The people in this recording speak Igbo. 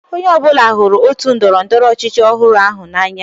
Onye ọ bụla hụrụ otu ndọrọ ndọrọ ọchịchị ọhụrụ ahụ n'anya.